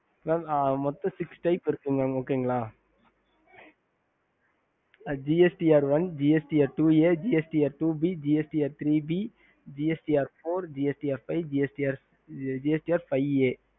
மொத்தம் mam six type என்ன என்ன gst rst one gst r two a gst r two b gst r theer b gst r four gst r five gst r five a